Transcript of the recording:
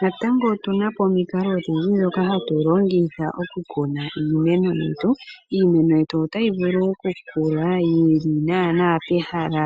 Natango otuna po omikalo odhindji dhoka hatu longitha oku kuna iimeno yetu. Iimeno yetu otayi vulu oku kula yili naana pehala